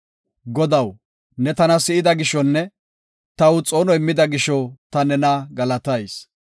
Godaw, ne tana si7ida gishonne taw xoono immida gisho ta nena galatayis.